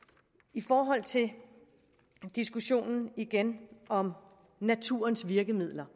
i forhold til diskussionen om naturens virkemidler